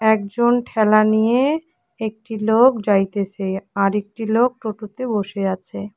একজন ঠেলা নিয়ে একটি লোক যাইতেসে আর একটি লোক টোটোতে বসে আছে।